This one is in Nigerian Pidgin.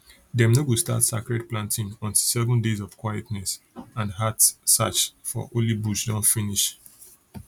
dem no go start sacred planting until seven days of quietness and heart search for holy bush don finish